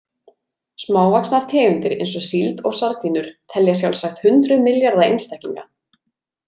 Smávaxnar tegundir eins og síld og sardínur telja sjálfsagt hundruð milljarða einstaklinga.